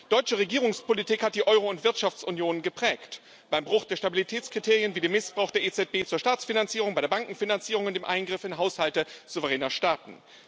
Deutsche Regierungspolitik hat die Euro und Wirtschaftsunion geprägt beim Bruch der Stabilitätskriterien wie dem Missbrauch der EZB zur Staatsfinanzierung, bei der Bankenfinanzierung und beim Eingriff in Haushalte souveräner Staaten.